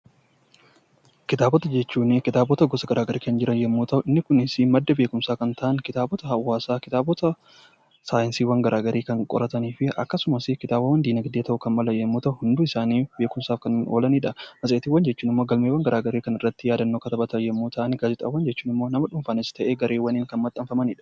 Kitaabota jechuun kitaabota gosa garagaraatu kan jiran yoo ta'u kitaabonni Kunis madda beekkumsa yoo ta'an isaaniis kanneen akka kitaaba hawaasaa, kitaabota saayinsii fi kitaabota diinagdee yoo ta'an hundi isaanii beekkumsaaf kan oolanidha. Matseetii jechuun immoo galmeewwan garagaraa kan irratti yaadannoo irratti katabatan yoo ta'u gaazexaawwan jechuun immoo nama dhuunfaanis ta'ee gareewwaniin kan maxxanfamanidha.